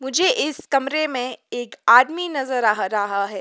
मुझे इस कमरे में एक आदमी नजर आ रहा है।